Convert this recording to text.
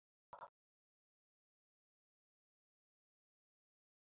Suðið fyrir eyrunum á mér er alltaf að ágerast.